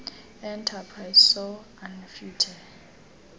enterprises soe anefuthe